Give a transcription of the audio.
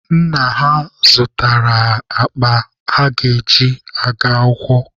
Nna ha zụtaara ha akpa ha ga-eji gaa akwụkwọ.